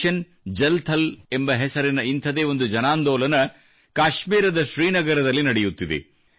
mission Jal Thal ಎಂಬ ಹೆಸರಿನ ಇಂಥದೇ ಒಂದು ಜನಾಂದೋಲನ ಕಾಶ್ಮೀರದ ಶ್ರೀನಗರದಲ್ಲಿ ನಡೆಯುತ್ತಿದೆ